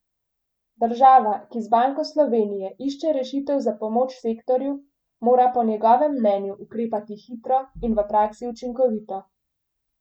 Država, ki z Banko Slovenije išče rešitev za pomoč sektorju, mora po njegovem mnenju ukrepati hitro in v praksi učinkovito.